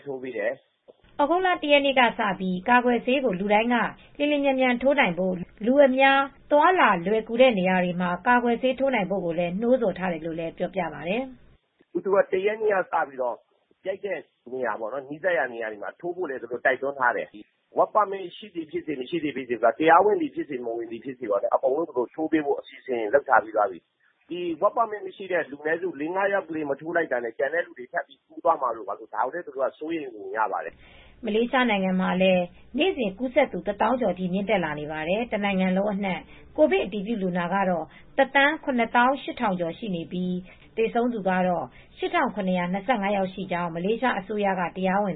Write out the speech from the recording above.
းထိုးပေးတယ်။" သြဂုတ်လ ၁ ရက်နေ့ကစပြီး လူတိုင်း ကာကွယ်ဆေး လျင်လျင်မြန်မြန်ထိုးနိုင်ဖို့၊ လူအများ သွားလာရလွယ်ကူတဲ့နေရာတွေမှာ ကာကွယ်ဆေးထိုးနိုင်ဖို့ နှိုးဆော်ထားတယ်လို့လည်းပြောပါတယ်။ "၁ ရက်နေ့ကစပြီ းကြိုက်တဲ့နေရာ နီးစပ်ရာနေရာတွေမှာထိုးဖို့လည်း တိုက်တွန်းထားတယ် အလုပ်လုပ်ခွင့်လက်မှတ် Work Permit ရှိသည်ဖြစ်စေ မရှိသည်ဖြစ်စေ တရားဝင်သည်ဖြစ်စေ မဝင်သည်ဖြစ်စေ အကုန်လုံးကိုထိုးပေးဖို့လည်းလုပ်ထားတယ် work permit မရှိသူ လေးငါးယောက် မထိုးလိုက်တာနဲ့ ကျန်တဲ့သူတွေကိုကူးစက်သွားမှာ ဒါကိုလည်း သူတို့က စိုးရိမ်ပုံရပါတယ်။" မလေးရှားနိုင်ငံမှာ ကိုဗစ်ကူးစက်သူ နေ့စဉ် ၁၀,၀၀၀ ကျော်ထိမြင့်တက်လာနေပါတယ်။ တနိုင်ငံလုံးအနံှ့ ကိုဗစ်တအတည်ပြုလူနာကတော့ ၁၀၇,၈၀၀၀ ကျော်ရှိပြီး သေဆုံးသူကတော့ ၈,၇၂၅ ယောက်ရှိကြောင်းမလေးရှားအစိုးရရဲ့ တရားဝင်